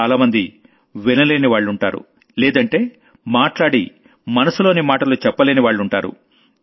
చాలామంది వినలేనివాళ్లుంటారు లేదంటే మాట్లాడి మనసులోని మాటలు చెప్పలేనివాళ్లుంటారు